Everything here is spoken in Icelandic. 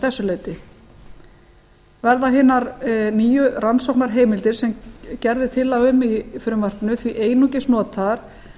þessu leyti verða hinar nýju rannsóknarheimildir sem gerð er tillaga um í frumvarpinu því einungis notaðar